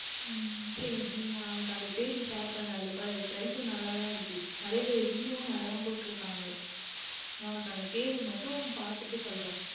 உம் சரி நான் உனக்கு அந்த Page Share பண்ணுகிறேன் அதில் பார் நன்றாக தான் இருக்கின்றது நிறைய பேர் Review நன்றாக தான் போட்டு இருக்கிறார்கள் நான் உனக்கு அந்த Page மட்டும் பார்த்துவிட்டு சொல்லுகின்றேன்